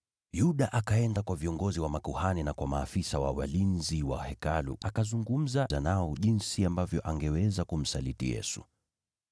Yuda akaenda kwa viongozi wa makuhani na kwa maafisa wa walinzi wa Hekalu, akazungumza nao jinsi ambavyo angeweza kumsaliti Yesu.